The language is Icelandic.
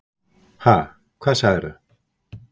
Ha, hvað sagðir þú?